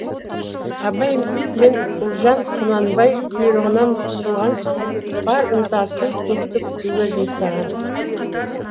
абай мен ұлжан құнанбай бұйрығынан құтылған соң бар ынтасын көпті күтуге жұмсаған